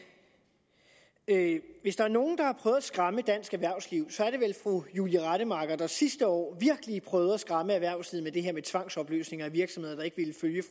hvis der er nogen der har prøvet at skræmme dansk erhvervsliv så er det vel fru julie rademacher der sidste år virkelig prøvede at skræmme erhvervslivet med det her med tvangsopløsninger af virksomheder der ikke ville følge